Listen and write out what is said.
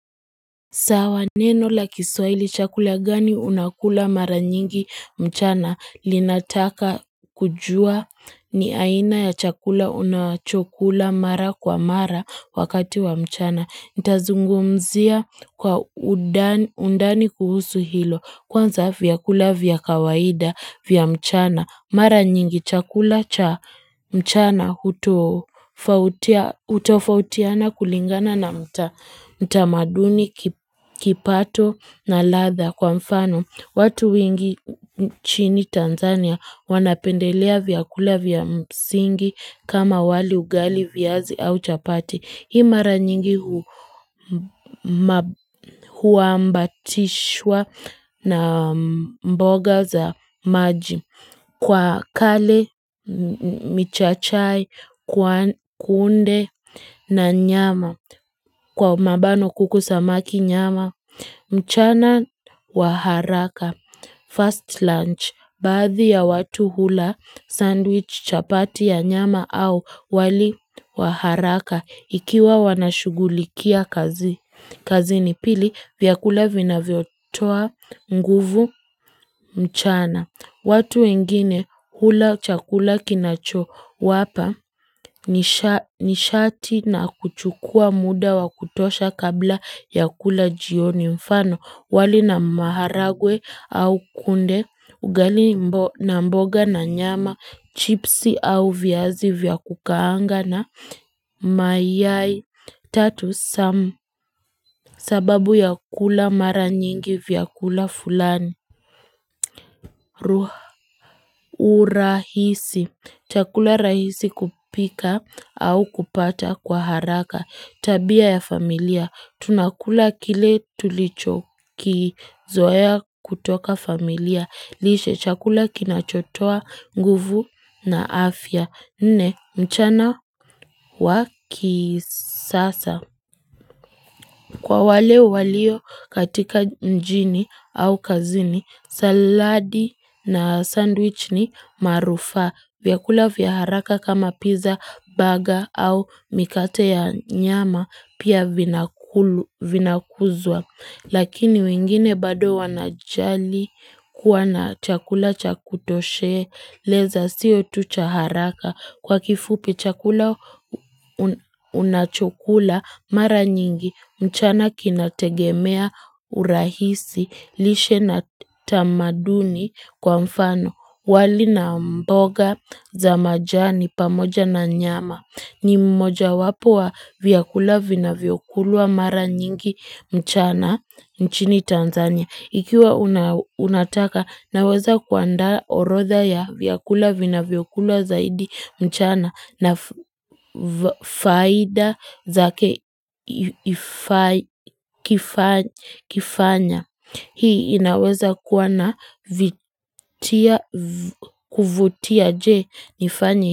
Sawa neno la kiswahili chakula gani unakula mara nyingi mchana linataka kujua ni aina ya chakula unachokula mara kwa mara wakati wa mchana. Ntazungumzia kwa undani kuhusu hilo kwanza vyakula vya kawaida vya mchana Mara nyingi chakula cha mchana hutofautiana kulingana na mtamaduni kipato na latha kwa mfano watu wengi chini Tanzania wanapendelea vyakula vya msingi kama wali ugali viazi au chapati Hii mara nyingi huambatishwa na mboga za maji kwa kale, michachai, kuunde na nyama, kwa mabano kuku samaki nyama. Mchana wa haraka, first lunch, baadhi ya watu hula, sandwich chapati ya nyama au wali wa haraka. Ikiwa wanashugulikia kazi, kazini pili vyakula vinavyotoa, nguvu, mchana watu wengine hula chakula kinacho wapa nishati na kuchukua muda wa kutosha kabla ya kula jioni mfano wali na maharagwe au kunde, ugali na mboga na nyama, chipsi au viazi vya kukaanga na mayai, tatu samu. Sababu ya kula mara nyingi vya kula fulani, urahisi, chakula rahisi kupika au kupata kwa haraka. Tabia ya familia, tunakula kile tulicho kizoea kutoka familia, lishe chakula kinachotoa nguvu na afya, nne mchana wa kisasa. Kwa wale walio katika mjini au kazini, saladi na sandwich ni marufaa. Vyakula vya haraka kama pizza, burger au mikate ya nyama pia vinakuzwa. Lakini wengine bado wanajali kuwa na chakula cha kutosheleza sio tu cha haraka kwa kifupi chakula unachokula mara nyingi mchana kinategemea urahisi lishe na tamaduni kwa mfano wali na mboga za majani pamoja na nyama. Ni mmoja wapo wa vyakula vinavyokulwa mara nyingi mchana nchini Tanzania. Ikiwa unataka naweza kuandaa orodha ya vyakula vinavyokulwa zaidi mchana na faida zake kifanya. Hii inaweza kuwa na kuvutia je nifanye.